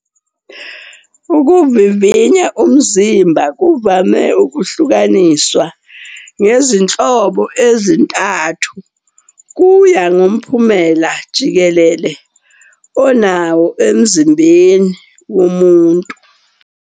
Ukuvivinya umzimba kuvame ukuhlukaniswa ngezinhlobo ezintathu, kuya ngomphumela jikelele onawo emzimbeni womuntu.